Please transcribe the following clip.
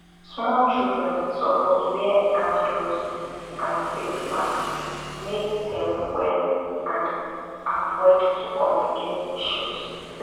small children suppose wear hand gloves and face masks make dem well and avoid to complicate issues